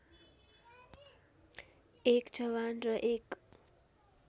१ जवान र १